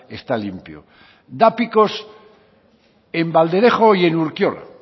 está limpio da picos en valderejo y en urkiola